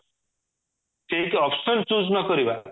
ଠିକ option choose ନକରିବା